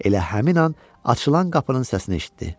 Elə həmin an açılan qapının səsini eşitdi.